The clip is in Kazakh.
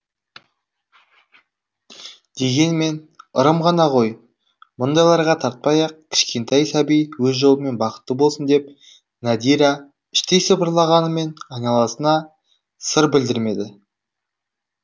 дегенмен ырым ғана ғой мұндайларға тартпай ақ кішкентай сәби өз жолымен бақытты болсын деп надира іштей сыбырлағанымен айналасына сыр білдірмеді